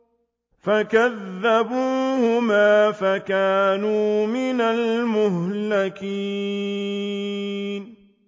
فَكَذَّبُوهُمَا فَكَانُوا مِنَ الْمُهْلَكِينَ